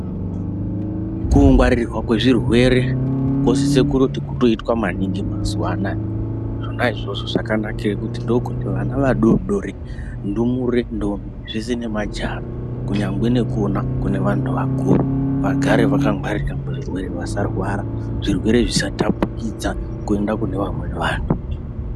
Kungwarirwa kwezvirwere kosise kuti kutoitwe maningi mazuwa anaya zvona izvozvo zvakanakira kuti ndokuti vana vadodori ndumure ndombi zvese nemajaha kunyangwe nekona kune anhu akuru vagare vakagwarira muzvirwere vasarwa zvirerwe zvisatapukidza kuenda kunevamweni vanhu.